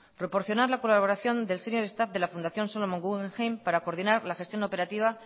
proporcionar la colaboración del senior staff de la fundación solomon guggenheim para coordinar la gestión operativa